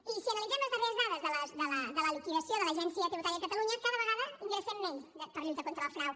i si analitzem les darreres dades de la liquidació de l’agència tributària de catalunya cada vegada ingressem menys per lluita contra el frau